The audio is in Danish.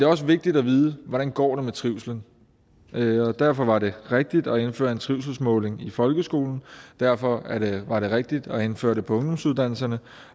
også vigtigt at vide hvordan det går med trivslen og derfor var det rigtigt at indføre en trivselsmåling i folkeskolen og derfor var det rigtigt at indføre det på ungdomsuddannelserne